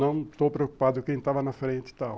Não estou preocupado com quem estava na frente e tal.